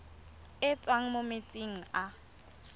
e tswang mo metsing a